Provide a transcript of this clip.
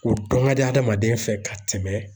O dɔn ka di adamaden fɛ ka tɛmɛ